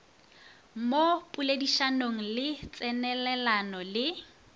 mo poledišanong le tsenelelano le